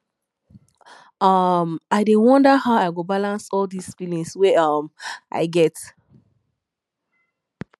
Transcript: um i dey wonder how i go balance all dis feelings wey um i get